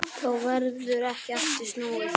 Þá verður ekki aftur snúið.